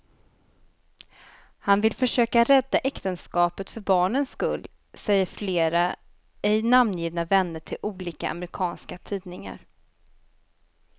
Han vill försöka rädda äktenskapet för barnens skull, säger flera ej namngivna vänner till olika amerikanska tidningar.